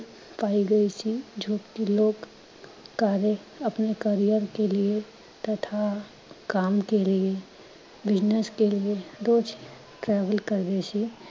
ਪਾਏ ਗਏ ਸੀ, ਜੋ ਕਿ ਲੋਗ ਕਾਰਿਅ ਅਪਨੇ career ਕੇ ਲਿਏ ਤਥਾ ਕਾਮ ਕੇ ਲਿਏ business ਕੇ ਲਿਏ ਰੋਜ਼ travel ਕਰ ਰਹੇ ਸੀ